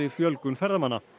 fjölgun ferðamanna